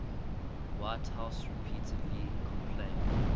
whitehouse repeatedly complained